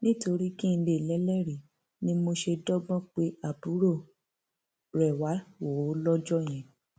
nítorí kí n lè lélẹrìí ni mo ṣe dọgbọn pé àbúrò rẹ wàá wò ó lọjọ yẹn